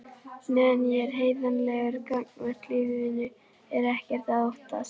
Meðan ég er heiðarlegur gagnvart lífinu er ekkert að óttast.